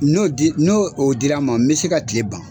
N'o di , n'o dira n ma, n be se ka kile ban.